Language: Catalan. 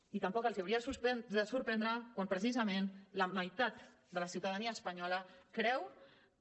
i tampoc els hauria de sorprendre quan precisament la meitat de la ciutadania espanyola creu que